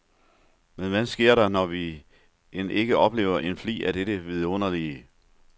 Men hvad sker der, når vi end ikke oplever en flig af dette vidunderlige.